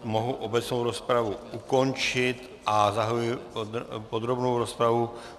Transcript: Mohu obecnou rozpravu ukončit a zahajuji podrobnou rozpravu.